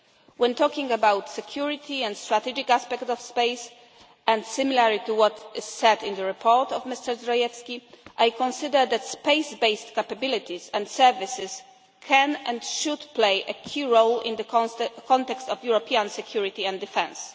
space. When talking about security and strategic aspects of space, and similarly to what is said in the report of Mr Zdrojewski, I consider that space based capabilities and services can, and should, play a key role in the context of European security and defence.